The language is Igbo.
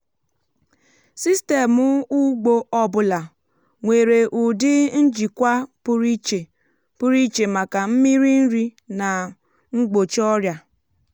sistemụ ugbo ọ bụla nwere ụdị njikwa pụrụ iche pụrụ iche maka mmiri nri na igbochi ọrịa.